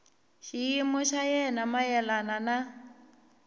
xiyimo xa yena mayelana na